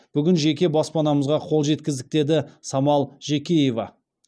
бүгін жеке баспанамызға қол жеткіздік деді самал жекеева